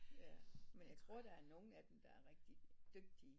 Ja men jeg tror der er nogle af dem der er rigtig dygtige